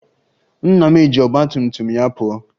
Nna m eji ọgba tum tum ya pụọ?